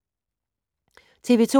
TV 2